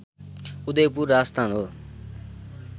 उदयपुर राजस्थान हो